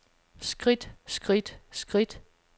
skridt skridt skridt